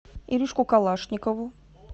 иришку калашникову